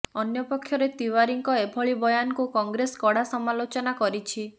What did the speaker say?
ଅନ୍ୟପକ୍ଷରେ ତିୱାରୀଙ୍କ ଏଭଳି ବୟାନକୁ କଂଗ୍ରେସ କଡା ସମାଲୋଚନା କରିଛି